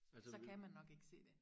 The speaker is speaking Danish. så kan man nok ikke se det